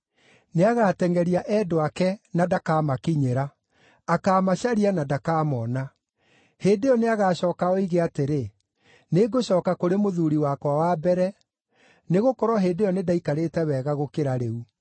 Nĩagatengʼeria endwa ake na ndakamakinyĩra. Akaamacaria na ndakamona. Hĩndĩ ĩyo nĩagacooka oige atĩrĩ, ‘Nĩngũcooka kũrĩ mũthuuri wakwa wa mbere, nĩgũkorwo hĩndĩ ĩyo nĩndaikarĩte wega gũkĩra rĩu.’